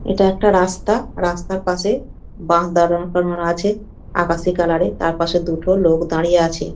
এটা একটা রাস্তা রাস্তার পাশে বাস দাঁড় করানো আছে আকাশি কালারের তারপাশে দুটো লোক দাঁড়িয়ে আছে।